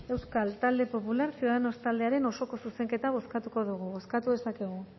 euskal talde popular ciudadanos taldearen osoko zuzenketa bozkatuko dugu bozkatu dezakegu